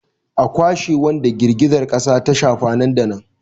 A kwashe wadanda girgizar kasa ta shafa nan da nan!